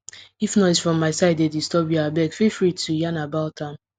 if noise from my side dey disturb you abeg feel free to yarn about am